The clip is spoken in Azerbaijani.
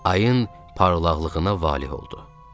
Ayın parlaqlığına valeh oldu.